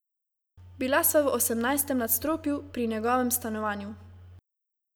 Bila sva v osemnajstem nadstropju, pri njegovem stanovanju.